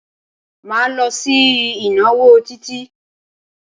Máa lọ sí ìnáwó Títí.